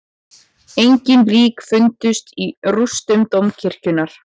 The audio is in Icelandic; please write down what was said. Engin lík fundust í rústum dómkirkjunnar